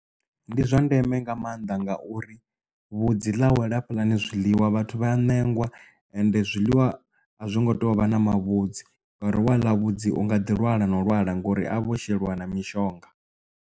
Ndi zwa ndeme nga maanḓa ngauri vhudzi ḽa wela hafhaḽani zwiḽiwa vhathu vha ya ṋengwa and zwiḽiwa a zwo ngo tou vha na mavhudzi ngauri wa ḽa vhudzi unga ḓi lwala na u lwala ngori a vho sheliwa na mishonga.